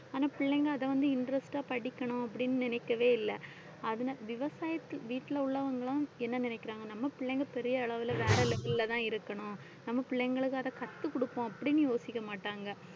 ஆனா பிள்ளைங்க அதை வந்து interest ஆ படிக்கணும் அப்படின்னு நினைக்கவே இல்லை. அது~ விவசாய வீட்டில உள்ளவங்களும் என்ன நினைக்கிறாங்க, நம்ம பிள்ளைங்க பெரிய அளவுல வேற level லதான் இருக்கணும் நம்ம பிள்ளைங்களுக்கு அதைக் கத்துக் கொடுப்போம் அப்படின்னு யோசிக்க மாட்டாங்க